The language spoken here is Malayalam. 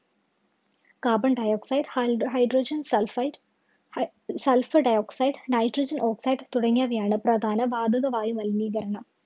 Carbon dioxide, hi hydrogen sulfide, hi sulfur dioxide, hydrogen oxide തുടങ്ങിയവയാണ് പ്രധാന വാതക വായുമലിനീകരണം.